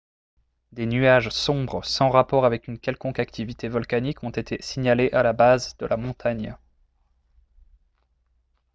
des nuages sombres sans rapport avec une quelconque activité volcanique ont été signalés à la base de la montagne